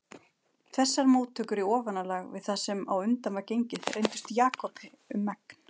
Þessar móttökur í ofanálag við það sem á undan var gengið reyndust Jakobi um megn.